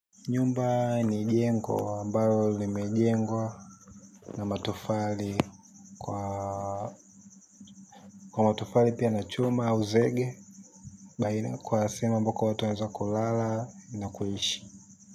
Nyumba ni jengwlo ambalo limejengwa. Na matofali kwa kwa matofali pia na chuma au zege kwa sehemu ambayo watu wanaeza kulala na kuishi.